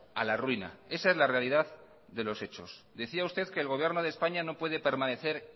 a la ruina esa es la realidad de los hechos decía usted que el gobierno de españa no puede permanecer